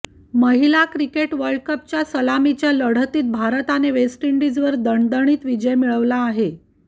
महिला क्रिकेट वर्ल्डकपच्या सलामीच्या लढतीत भारताने वेस्ट इंडिजवर दणदणीत विजय मिळवला आहे